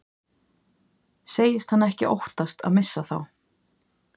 Segist hann ekki óttast að missa þá.